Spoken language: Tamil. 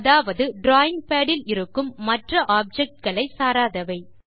அதாவது டிராவிங் பாட் இல் இருக்கும் மற்ற objectகளை சாராதவை